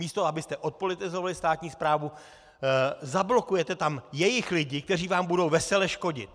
Místo abyste odpolitizovali státní správu, zablokujete tam jejich lidi, kteří vám budou vesele škodit.